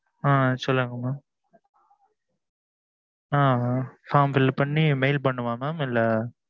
ஆ சொல்லுங்க mam ஆ form fill பண்ணி பண்ணனுமா இல்ல